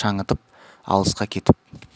шаңытып алысқа кетіп